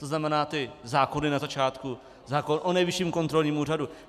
To znamená ty zákony na začátku, zákon o Nejvyšším kontrolním úřadu?